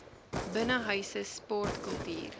binnenshuise sport kultuur